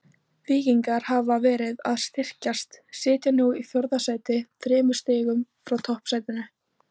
Víkingar hafa verið að styrkjast, sitja nú í fjórða sæti þremur stigum frá toppsætinu.